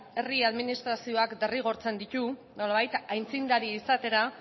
herri administrazioak derrigortzen ditu nolabait aintzindari izateri